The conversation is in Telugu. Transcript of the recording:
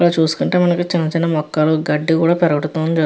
ఇక్కడ చూసుకుంటే మనకి చిన్న చిన్న మొక్కలు గడ్డి కూడా పెరగట --